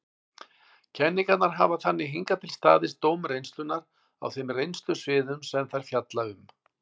Kenningarnar hafa þannig hingað til staðist dóm reynslunnar á þeim reynslusviðum sem þær fjalla um.